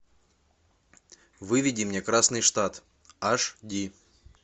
выведи мне красный штат аш ди